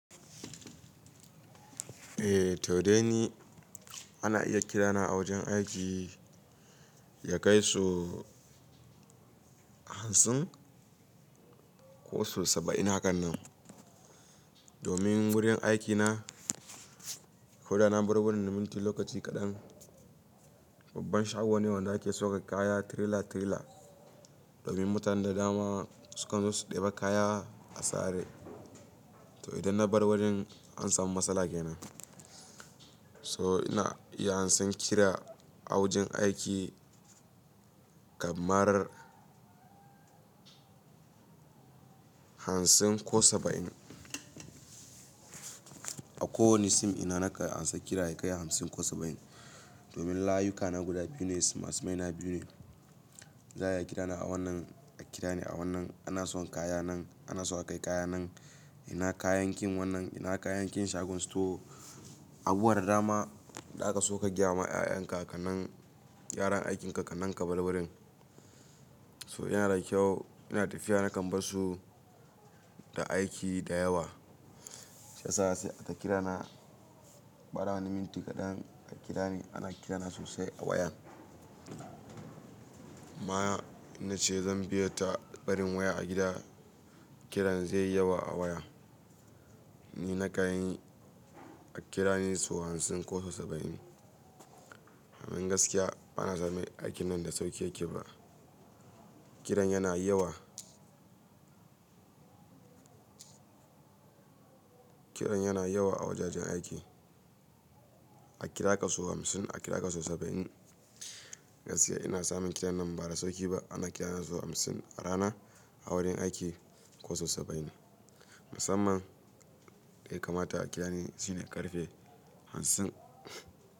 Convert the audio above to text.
Eh to dai ni ana iya kirana a wajen aiki ya kai su hamsin ko su saba'in hakan nan. Domin wurin aikina, koda na bar wurin minti lokaci kaɗan. Babban shago ne wanda ake sauke kaya tirila-tirila. Domin mutane da dama sukan zo su ɗeba kaya a sare. To idan na bar wajen an samu matsala kenan. So na iya amsan kira a wajen aiki kamar hamsin ko saba'in. A kowane sim ina nakan amsa kira ya kai hamsin ko saba'in. Domin layuka na guda biyu ne, sima simai na biyu ne. Zai iya kirana a wannan, a kira ni a wannan, ana so kayan nan, ana so aka kai kaya nan, ina kayan kin wannan, ina kayan kin shagon store. Abuwa da dama da aka sauka gyama 'ya'yan kakannin yaran aikin kakannin ka balbalin. So yana da kyau, ina tafiya na kan barsu da aiki da yawa. Sha sasa sai a kira na, bara wani minti kaɗan a kira ni, ana kirana sosai a wayan. Amma na ce zan biye ta barin waya a gida, kiran zai yi yawa a waya. Ni na kan yi a kira ni su hamsin ko su saba'in. Domin gaskiya bana samun aikin nan da sauki yake ba. Kiran yana yawa. Kiran yana yawa a wajajen aiki. A kira ka su hamsin, a kira ka su saba'in. Gaskiya ina samun kiran nan ba da sauki ba. Ana kirana su hamsin a rana a wurin aiki ko su saba'in. Musamman dai kamata a kira ni shine ƙarfe hamsin.